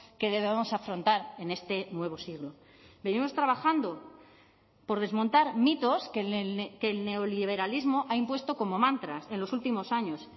que debemos afrontar en este nuevo siglo venimos trabajando por desmontar mitos que el neoliberalismo ha impuesto como mantras en los últimos años